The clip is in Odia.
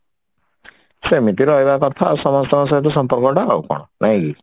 ସେମିତି ରହିବା କଥା ଆଉ ସମସ୍ତଙ୍କ ସହିତ ସମ୍ପର୍କର୍ଟା ଆଉ କଣ ନାଇଁ କି